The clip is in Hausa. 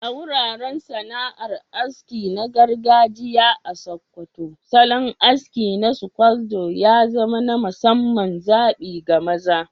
A wuraren sana'ar aski na gargajiya a Sokoto, salon aski na scodo ya zama na musamman zabi ga maza.